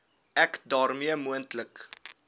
ek daarmee moontlike